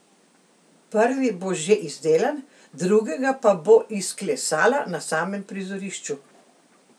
Prvi bo že izdelan, drugega pa bo izklesala na samem prizorišču.